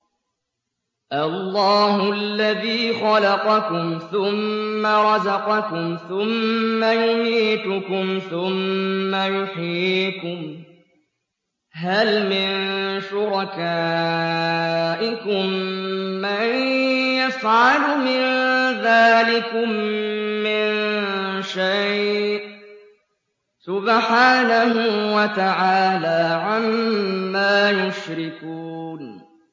اللَّهُ الَّذِي خَلَقَكُمْ ثُمَّ رَزَقَكُمْ ثُمَّ يُمِيتُكُمْ ثُمَّ يُحْيِيكُمْ ۖ هَلْ مِن شُرَكَائِكُم مَّن يَفْعَلُ مِن ذَٰلِكُم مِّن شَيْءٍ ۚ سُبْحَانَهُ وَتَعَالَىٰ عَمَّا يُشْرِكُونَ